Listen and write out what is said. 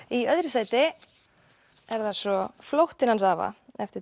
í öðru sæti er það svo flóttinn hans afa eftir